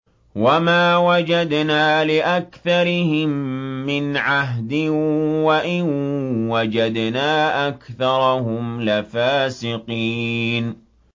وَمَا وَجَدْنَا لِأَكْثَرِهِم مِّنْ عَهْدٍ ۖ وَإِن وَجَدْنَا أَكْثَرَهُمْ لَفَاسِقِينَ